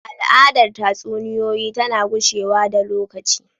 Al’adar tatsuniyoyi tana gushewa da lokaci.